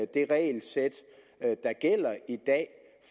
det regelsæt der gælder i dag